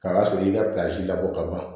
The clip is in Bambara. K'a sɔrɔ i ka labɔ ka ban